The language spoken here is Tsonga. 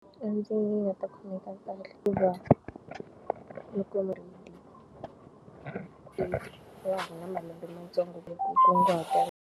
A ndzi nga ta khomeka kahle hikuva, loko va ha ri na malembe mantsongo ku kunguhata.